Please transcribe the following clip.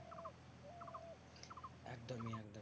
একদমই একদমই।